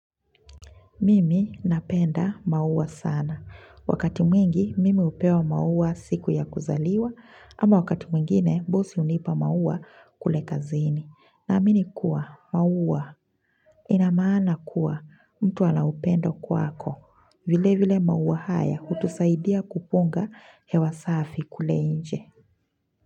Mimi napenda maua sana. Wakati mwingi, mimi hupewa maua siku ya kuzaliwa, ama wakati mwingine, bosi hunipa maua kule kazini. Na amini kuwa, maua, inamana kuwa, mtu anaupendo kwako. Vile vile maua haya, hutusaidia kupunga hewa safi kule nje.